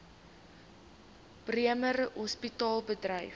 bremer hospitaal bedryf